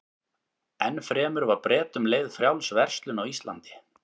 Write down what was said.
Enn fremur var Bretum leyfð frjáls verslun á Íslandi.